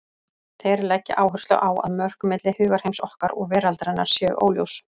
Þeir leggja áherslu á að mörk milli hugarheims okkar og veraldarinnar séu óljós.